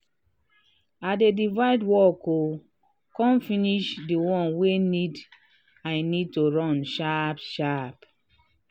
i dey divide work um con finish dey ones wey need i need to run sharp um sharp.